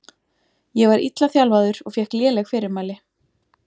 Ég var illa þjálfaður og fékk léleg fyrirmæli.